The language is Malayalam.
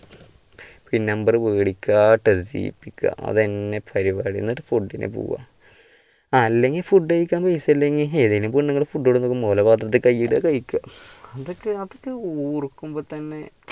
പിന്ന് number മേടിക്കാ selfie എടുക്കാ അതു തന്നെ പരുപാടി എന്നിട്ട് പോവാ അല്ലെങ്കിൽ food കഴിക്കാൻ പൈസയില്ലെങ്കിൽ ഏതെങ്കിലും പെണ്ണുങ്ങള് food കൊണ്ടുവരും ഓളട പാത്രത്തിൽ കൈ ഇടുക കഴിക്കുക, അതൊക്കെ അതൊക്കെ ഓർക്കുമ്പോ തന്നെ